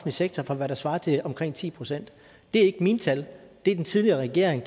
sektor for hvad der svarer til omkring ti procent det er ikke mine tal det er den tidligere regering